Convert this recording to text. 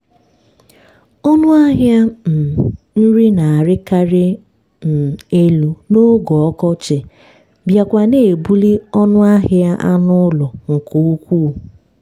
ọnụ ahịa um nri na-arịkarị um elu n'oge ọkọchị bịakwa na-ebuli ọnụ ahịa anụ ụlọ nke ukwuu